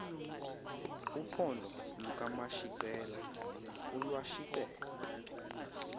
uphondo lukamashiqela olwashiqel